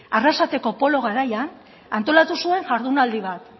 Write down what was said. arrasateko polo garaian antolatu zuen jardunaldi bat